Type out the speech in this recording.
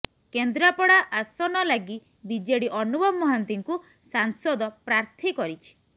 କେନ୍ଦ୍ରାପଡ଼ା ଆସନ ଲାଗି ବିଜେଡି ଅନୁଭବ ମହାନ୍ତିଙ୍କୁ ସାଂସଦ ପ୍ରାର୍ଥୀ କରିଛି